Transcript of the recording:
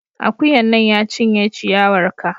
Akuyan nan, ya cinye ciyawar ka!